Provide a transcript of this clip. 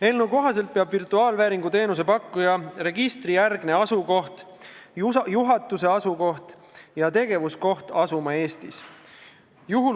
Eelnõu kohaselt peab virtuaalvääringu teenuse pakkuja registrijärgne asukoht, juhatuse asukoht ja tegevuskoht asuma Eestis.